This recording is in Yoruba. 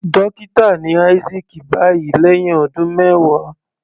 Dókítà ni Isaac báyìí lẹ́hìn ọdún mẹwàá.